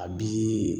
A bi